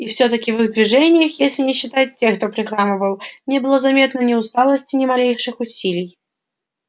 и все таки в их движениях если не считать тех кто прихрамывал не было заметно ни усталости ни малейших усилий